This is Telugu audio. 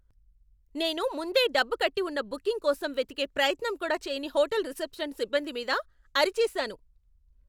నేను ముందే డబ్బు కట్టి ఉన్న బుకింగ్ కోసం వెతికే ప్రయత్నం కూడా చెయ్యని హోటల్ రిసెప్షన్ సిబ్బంది మీద అరిచేసాను.